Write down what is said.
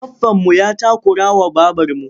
Baffanmu ya takurawa babarmu.